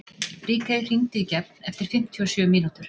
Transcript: Ríkey, hringdu í Gefn eftir fimmtíu og sjö mínútur.